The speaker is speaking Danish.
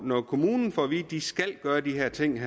når kommunen får at vide at de skal gøre de her ting vil